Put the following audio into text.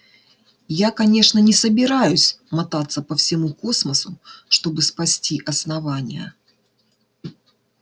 я конечно не собираюсь мотаться по всему космосу чтобы спасти основание